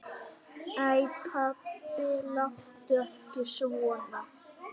Æ pabbi, láttu ekki svona.